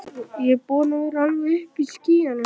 Ég er búinn að vera alveg uppi í skýjunum.